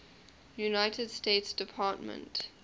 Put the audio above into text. united states department